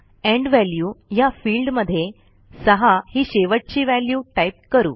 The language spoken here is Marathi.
एंड वॅल्यू ह्या फिल्डमध्ये 6 ही शेवटची व्हॅल्यू टाईप करू